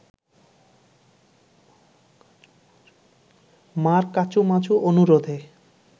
মার কাঁচুমাচু অনুরোধে